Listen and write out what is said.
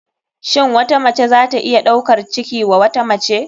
Shin wata mace zata iya ɗaukar ciki wa wata mace.